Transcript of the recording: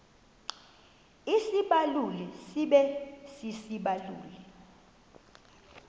isibaluli sibe sisibaluli